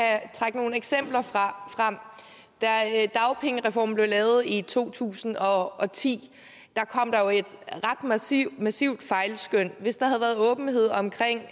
trække nogle eksempler frem da dagpengereformen blev lavet i to tusind og og ti kom der jo et ret massivt massivt fejlskøn hvis der havde været åbenhed omkring